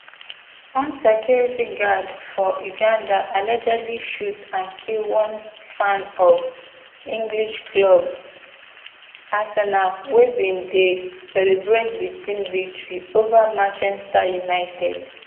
one security guard for uganda allegedly shoot and kill one fan of english club arsenal wey bin dey celebrate di team victory ova manchester united